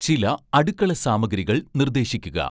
ചില അടുക്കളസാമഗ്രികൾ നിർദ്ദേശിക്കുക